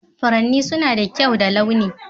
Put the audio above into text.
Furanni suna da kyau da launi.